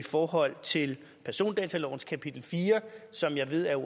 forhold til persondatalovens kapitel fire som jeg ved er